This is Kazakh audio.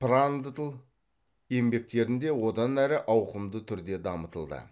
прандтль еңбектерінде одан әрі ауқымды түрде дамытылды